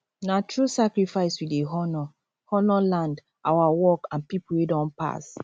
na through sacrifice we dey honour honour land our work and people wey don pass